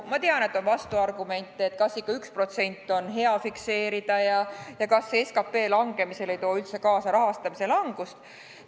Ma tean, et on vastuargumente, kas ikka on hea 1% fikseerida ja kas see äkki ei too SKT langemisel kaasa üldse rahastamise langust.